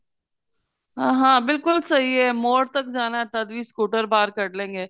ਹਾਂ ਹਾਂ ਬਿਲਕੁਲ ਸਹੀ ਏ ਮੋੜ ਤੱਕ ਜਾਣਾ ਤਦ ਵੀ scooter ਬਾਹਰ ਕੱਡ ਲੈਣ ਗੇ